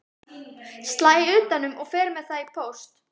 Slæ utan um og fer með það í póst.